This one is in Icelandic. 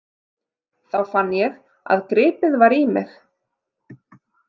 Þá fann ég að gripið var í mig.